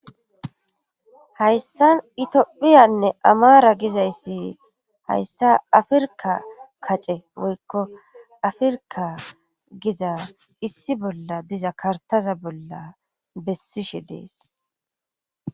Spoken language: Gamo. hayssa itophiyanne amara gizayssi hayssa afirka kace woykko afirka giza issi bolla diza kartaza bolla bessishe dees